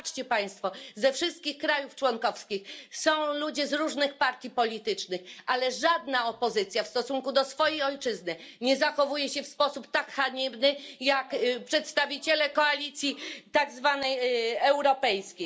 Popatrzcie państwo, ze wszystkich krajów członkowskich są ludzie z różnych partii politycznych, ale żadna opozycja w stosunku do swojej ojczyzny nie zachowuje się w sposób tak haniebny jak przedstawiciele koalicji tak zwanej europejskiej.